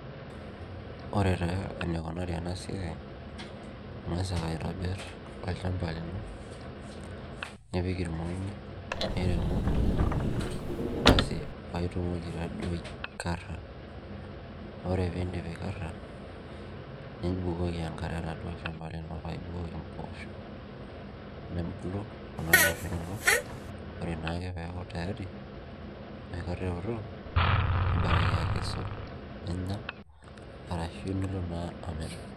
Ore taa enikunari enasiai, ingasa aitobir olchamba lino nipik irmongi miremo paitumoki taaduo aikara ore pindip aikara nibukoku enkare oladuo shamba lini paibukoki mposho nebuku kuna poosho inonok ore ake peaku tayari enoshi kata eoto nibaraka akesu ninya arashu nilo na amir.